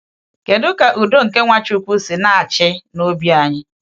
Kedu ka Udo nke Nwachukwu si na-achị n’obi anyị?